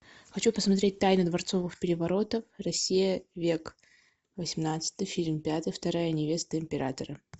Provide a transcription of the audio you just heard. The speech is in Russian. хочу посмотреть тайны дворцовых переворотов россия век восемнадцатый фильм пятый вторая невеста императора